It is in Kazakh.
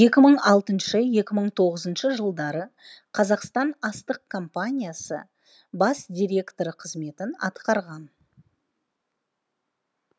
екі мың алтыншы екі мың тоғызыншы жылдары қазақстан астық компаниясы жшс бас директоры қызметін атқарған